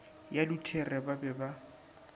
ya luthere ba be ba